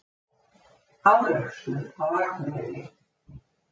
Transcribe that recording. Árekstur á Akureyri